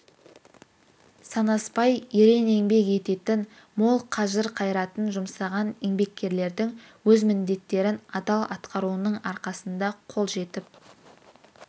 санаспай ерен еңбек ететін мол қажыр-қайратын жұмсаған еңбеккерлердің өз міндеттерін адал атқаруының арқасында қол жетіп